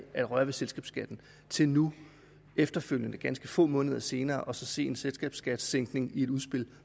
at røre ved selskabsskatten til nu efterfølgende ganske få måneder senere at se en selskabsskattesænkning i et udspil